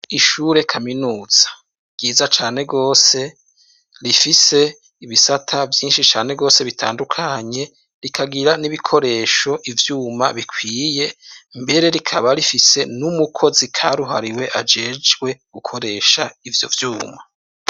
Ihure kaminuza ryiza cane gose ,rifise ibisata vyinshi cane gose bitandukanye ,rikagira n'ibikoresho ,ivyuma bikwiye ,mbere rikaba rifise n'umukozi karuhariwe ajejwe gukoresha ivyo vyuma.